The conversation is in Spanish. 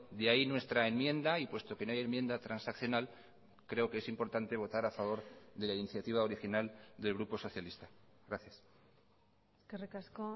de ahí nuestra enmienda y puesto que no hay enmienda transaccional creo que es importante votar a favor de la iniciativa original del grupo socialista gracias eskerrik asko